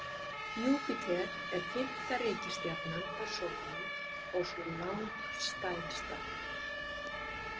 Júpíter er fimmta reikistjarnan frá sólu og sú langstærsta.